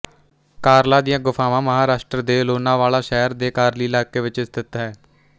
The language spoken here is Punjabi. ਕਾਰਲਾ ਦੀਆਂ ਗੁਫ਼ਾਵਾਂ ਮਹਾਰਾਸ਼ਟਰ ਦੇ ਲੋਨਾਵਾਲਾ ਸ਼ਹਿਰ ਦੇ ਕਾਰਲੀ ਇਲਾਕੇ ਵਿੱਚ ਸਥਿਤ ਹੈ